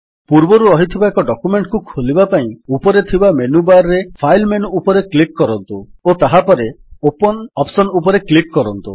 ପୂର୍ବରୁ ରହିଥିବା ଏକ ଡକ୍ୟୁମେଣ୍ଟ୍ ଖୋଲିବା ପାଇଁ ଉପରେ ଥିବା ମେନୁ ବାର୍ ରେ ଫାଇଲ୍ ମେନୁ ଉପରେ କ୍ଲିକ୍ କରନ୍ତୁ ଓ ତାହାପରେ ଓପନ୍ ଅପ୍ସନ୍ ଉପରେ କ୍ଲିକ୍ କରନ୍ତୁ